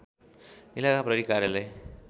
इलाका प्रहरी कार्यालय